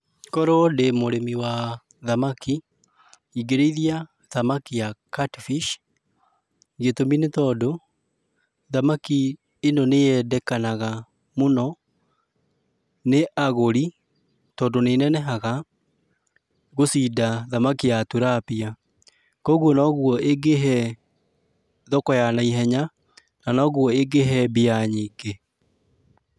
Korwo ndĩ mũrĩmi wa thamaki, ingĩrĩithia thamaki ya Catfish, gitũmi nĩ tondũ, thamaki ĩno nĩ yendekanaga mũno nĩ agũri, tondũ nĩnenehaga gũcinda thamaki ya Tilapia. Kuoguo noguo ĩngĩhee, thoko ya naihenya, na noguo ĩngĩhee mbia nyingĩ.